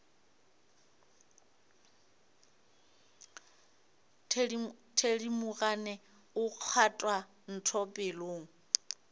thedimogane o kgwatha ntho pelong